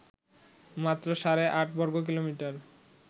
মাত্র সাড়ে আট বর্গকিলোমিটার